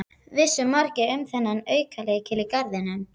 Vissu margir um þennan aukalykil í garðinum?